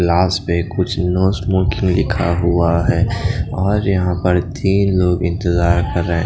last में कुछ लिखा हुआ है और यहा तिन लोग इंतजार कर रहे --